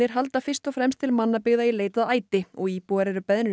halda fyrst og fremst til mannabyggða í leit að æti og íbúar eru beðnir